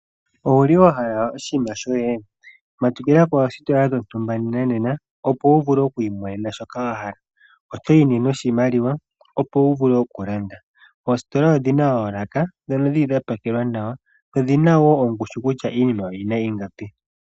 Owa hala oshinima shoye matukila poositola dhontumba nena opo wu vule oku imonena shoka wa hala. Otayi noshimaliwa opo wu vule okulanda. Oositola odhi na oolaka ndhono dha pakelwa nawa dho odhi na ongushu kutya iinima oyi na ingapi.